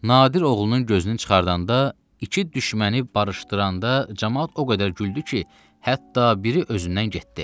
Nadir oğlunun gözünü çıxardanda, iki düşməni barışdıranda, camaat o qədər güldü ki, hətta biri özündən getdi.